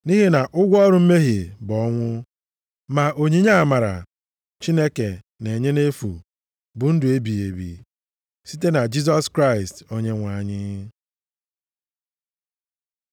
Nʼihi na ụgwọ ọrụ mmehie bụ ọnwụ, ma onyinye amara Chineke na-enye nʼefu, bụ ndụ ebighị ebi, site na Jisọs Kraịst Onyenwe anyị.